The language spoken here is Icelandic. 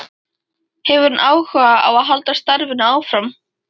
Hefur hann áhuga á að halda starfinu áfram?